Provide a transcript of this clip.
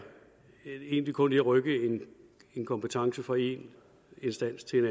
egentlig kun at rykke en kompetence fra en instans til en